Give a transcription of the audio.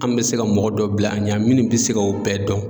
An bɛ se ka mɔgɔ dɔ bila an ɲɛ minnu bɛ se ka o bɛɛ dɔn.